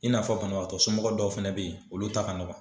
I n'a fɔ banabaatɔ somɔgɔw dɔw fana bɛ ye olu ta ka nɔgɔ.